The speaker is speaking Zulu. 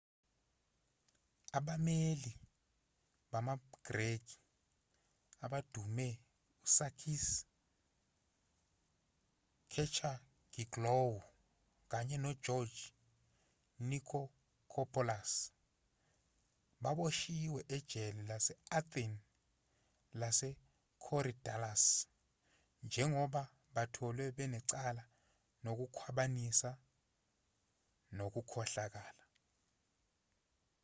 abameli bamagreki abadumile usakis kechagioglou kanye nogeorge nikolakopoulos baboshiwe ejele lase-athene lasekorydallus njengoba batholwe banecala lokukhwabanisa nokukhohlakala